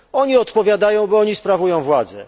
Oni odpowiadają, bo to oni sprawują władzę.